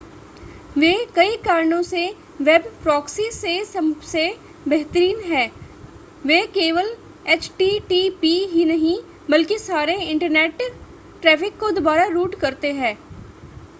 वे कई कारणों से वेब प्रॉक्सी से सबसे बेहतरीन हैं वे केवल एचटीटीपी ही नहीं बल्कि सारे इंटरनेट ट्रैफ़िक को दोबारा रूट करते हैं